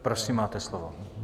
Prosím, máte slovo.